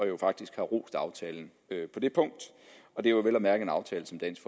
jo faktisk har rost aftalen på det punkt og det er vel at mærke en aftale som dansk